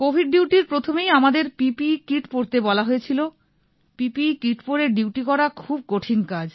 Covid ডিউটির প্রথমেই আমাদের পিপিই কিট পরতে বলা হয়েছিল পিপিই কিট পরে ডিউটি করা খুব কঠিন কাজ